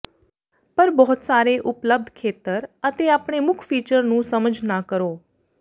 ਪਰ ਬਹੁਤ ਸਾਰੇ ਉਪਲੱਬਧ ਖੇਤਰ ਅਤੇ ਆਪਣੇ ਮੁੱਖ ਫੀਚਰ ਨੂੰ ਸਮਝ ਨਾ ਕਰੋ